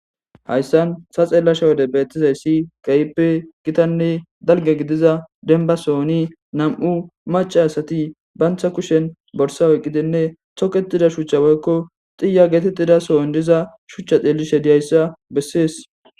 Haysan ta xeelashe wode beetizaysi keehippe gitanne dalge gidiza dembba sohoni nam'u macca asati banta kushen borsa oykidinne ćugetdia shuchcha woykko tiya getetida sohon diza shuchcha xeelishe diyaysa besses